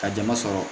Ka jama sɔrɔ